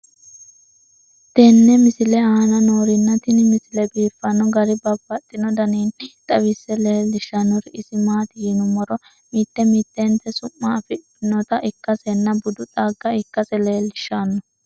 tenne misile aana noorina tini misile biiffanno garinni babaxxinno daniinni xawisse leelishanori isi maati yinummoro mitte mittentti su'ma afidhinnotta ikkassenna budu xagga ikkase leelishshanno